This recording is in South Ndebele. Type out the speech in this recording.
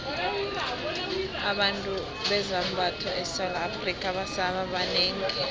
abathungi bezambatho esewula afrika sebaba banengi